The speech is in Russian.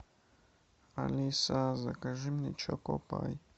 алиса закажи мне чоко пай